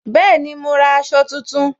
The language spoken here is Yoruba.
Bẹẹni, ma ra aṣọ tuntun